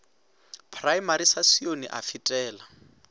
praemari sa sione a fetela